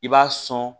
I b'a sɔn